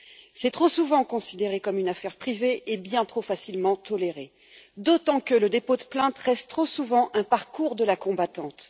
Celui ci est trop souvent considéré comme une affaire privée et bien trop facilement toléré, d'autant que le dépôt de plainte relève trop souvent du parcours de la combattante.